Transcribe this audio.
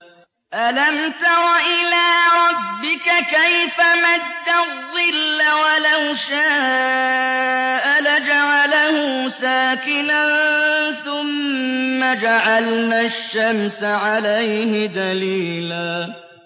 أَلَمْ تَرَ إِلَىٰ رَبِّكَ كَيْفَ مَدَّ الظِّلَّ وَلَوْ شَاءَ لَجَعَلَهُ سَاكِنًا ثُمَّ جَعَلْنَا الشَّمْسَ عَلَيْهِ دَلِيلًا